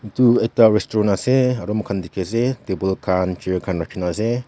etu ekta restaurant ase aru moikhan table khan chair khan rakhina ase.